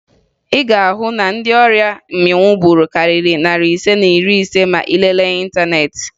Ị ga-ahụ na ndị ọrịa mmịnwụ gburu karịrị narị ise na iri ise ma ị lelee n'ịntaneetị